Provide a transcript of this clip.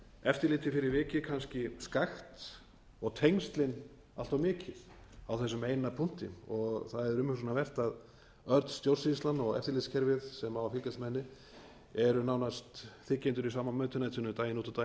eftirlitið fyrir vikið kannski skakkt og tengslin allt of mikil á þessum eina punkti það er umhugsunarvert að öll stjórnsýslan og eftirlitskerfið sem á að fylgjast með henni eru nánast þiggjendur í sama mötuneytinu daginn út og